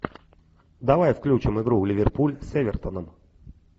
давай включим игру ливерпуль с эвертоном